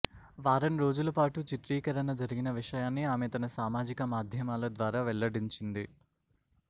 వారం రోజులు పాటు చిత్రీకరణ జరిగిన విషయాన్ని ఆమె తన సామాజిక మాధ్యమాల ద్వారా వెల్లడించింది